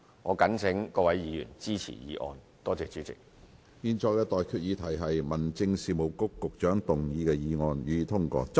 我現在向各位提出的待議議題是：民政事務局局長動議的議案，予以通過。